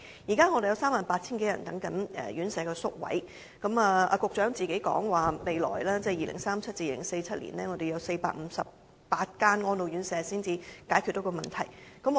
現時有 38,000 多人輪候宿位，局長說未來需有458間安老院舍才能解決問題。